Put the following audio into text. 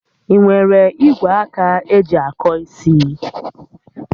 Ị nwere igwe aka eji akọ isi?